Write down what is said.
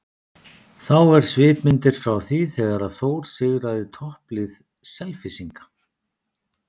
Þá er svipmyndir frá því þegar að Þór sigraði topplið Selfyssinga.